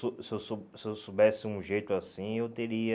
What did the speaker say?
Se eu so se eu so se eu soubesse um jeito assim, eu teria...